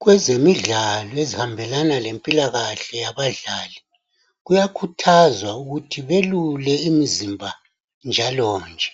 Kwezemidlalo ezihambelana lezempilakahle yabadlali kuyakhuthazwa ukuthi belule imizimba yabo njalonje.